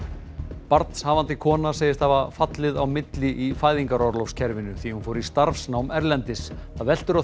barnshafandi kona segist hafa fallið á milli í fæðingarorlofskerfinu því hún fór í starfsnám erlendis það veltur á því